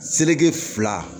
Seleke fila